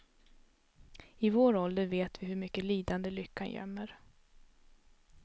I vår ålder vet vi hur mycket lidande lyckan gömmer.